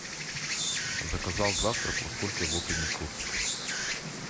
заказал завтрак во сколько его принесут